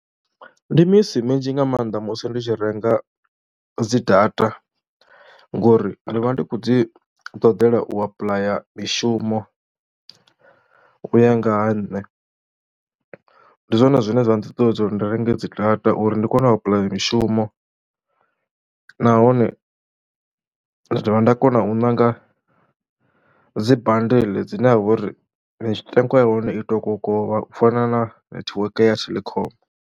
Ndi misi minzhi nga maanḓa musi ndi tshi renga dzi data ngori ndi vha ndi khou dzi ṱoḓela u apuḽaya mishumo u ya nga ha nṋe, ndi zwone zwine zwa nṱuṱuwedza uri ndi renge dzi data uri ndi kone u apply mishumo nahone ndi dovha nda kona u ṋanga dzi badeḽe dzine ha vha uri mitengo ya hone i to kokovha u fana nethiweke ya Telkom.